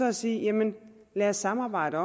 at sige jamen lad os samarbejde